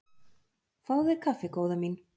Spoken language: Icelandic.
Fáðu þér kaffi góða mín.